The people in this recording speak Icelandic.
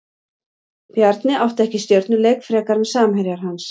Bjarni átti ekki stjörnuleik frekar en samherjar hans.